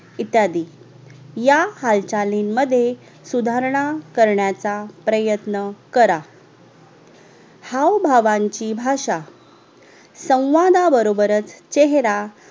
इत्यादि या हालचालीन मध्ये सुदाहरणा करण्याचा प्रयत्न करा हावभावांची भाषा संवादा बरोबरच चेहरा